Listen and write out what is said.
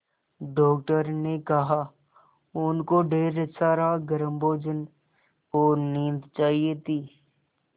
doctor ने कहा उनको ढेर सारा गर्म भोजन और नींद चाहिए थी